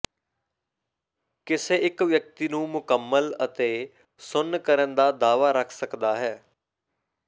ਕਿਸੇ ਇੱਕ ਵਿਅਕਤੀ ਨੂੰ ਮੁਕੰਮਲ ਅਤੇ ਸੁੰਨ ਕਰਨ ਦਾ ਦਾਅਵਾ ਰੱਖ ਸਕਦਾ ਹੈ